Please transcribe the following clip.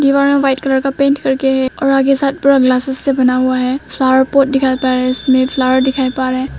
दीवार में white colour का पेंट कर के आगे में साइड पूरा ग्लासेस से बना हुआ है फ्लावर पॉट दिखाई पड़ रहा है जिसमें फ्लावर दिखाई पड़ रहा है।